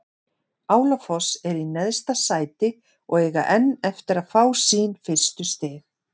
Álafoss er í neðsta sæti og eiga enn eftir að fá sín fyrstu stig.